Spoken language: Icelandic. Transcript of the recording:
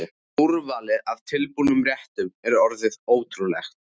Úrvalið af tilbúnum réttum er orðið ótrúlegt.